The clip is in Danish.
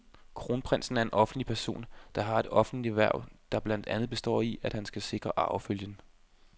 Kronprinsen er en offentlig person, der har et offentligt hverv, der blandt andet består i, at han skal sikre arvefølgen.